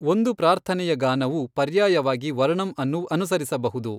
ಒಂದು ಪ್ರಾರ್ಥನೆಯ ಗಾನವು ಪರ್ಯಾಯವಾಗಿ ವರ್ಣಂ ಅನ್ನು ಅನುಸರಿಸಬಹುದು.